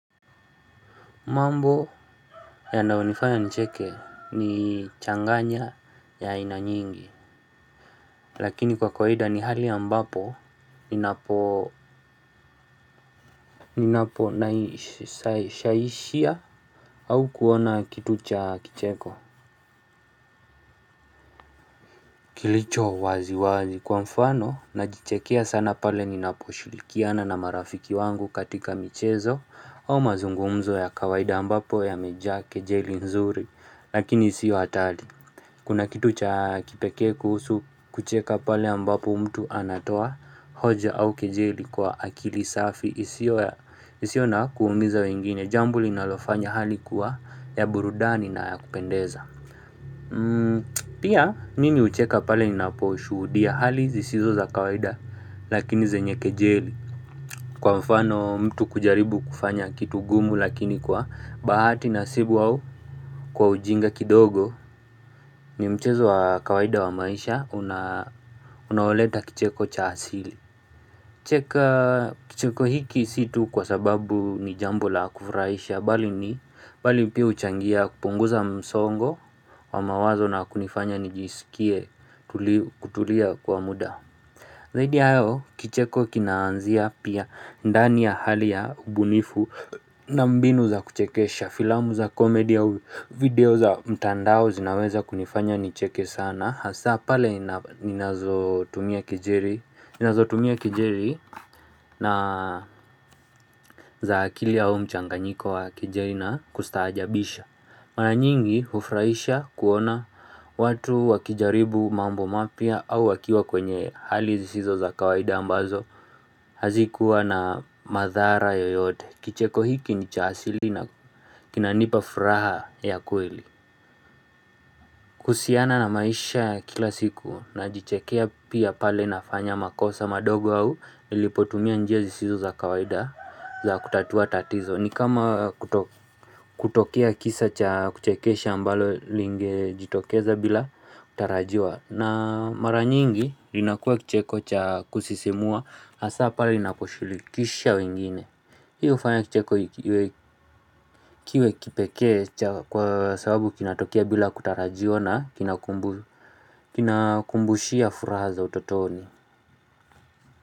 Mambo ya naonifanya ncheke ni changanya ya inanyingi, lakini kwa kawaida ni hali ambapo, ninapo naishaisia au kuona kitu cha kicheko. Kilicho wazi wazi kwa mfano, najichekea sana pale ninapo shulikiana na marafiki wangu katika michezo au mazungumzo ya kwaida ambapo ya mejake jeli nzuri, lakini siyo hatari. Kuna kitu cha kipeke kuhusu kucheka pale ambapo mtu anatoa hoja au kejeli kwa akili safi isiyo ya. Isiona kuumiza wengine jambuli nalofanya hali kuwa ya burudani na ya kupendeza. Pia nini ucheka pale nina poshudia hali zisizo za kawaida lakini zenye kejeli Kwa mfano mtu kujaribu kufanya kitu gumu lakini kwa bahati nasibu au Kwa ujinga kidogo. Ni mchezo wa kawaida wa maisha unaoleta kicheko cha asili. Cheka kicheko hiki situ kwa sababu ni jambo la kufraisha bali ni bali pia uchangia kupunguza msongo wa mawazo na kunifanya nijisikie kutulia kwa muda. Zaidi yahayo kicheko kinaanzia pia ndani ya hali ya ubunifu. Na mbinu za kuchekesha filamu za komedi au video za mtandao zinaweza kunifanya nicheke sana Hasa pale. Inazotumia kijeli na za akili ya mchanganyiko wa kijeri na kustajabisha. Mara nyingi ufraisha kuona watu wakijaribu mambo mapia au wakiwa kwenye hali zisizo za kawaida ambazo hazikuwa na madhara yoyote Kicheko hiki ni chaasili na kinanipa furaha ya kweli. Kuhusiana na maisha kila siku na jichekea pia pale na fanya makosa madogo au Ilipotumia njia zisizo za kawaida. Za kutatua tatizo ni kama kutokea kisa cha kuchekesha ambalo linge jitokeza bila kutarajiwa na mara nyingi linakua kicheko cha kusisimua Asapa lina kushulikisha wengine Hiu ufanya kicheko. Kiwe kipeke cha kwa sababu kinatokea bila kutarajiwa na. Kinakumbushia furaha za utotoni.